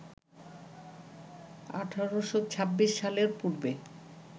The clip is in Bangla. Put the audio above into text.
১৮২৬ সালের পূর্বে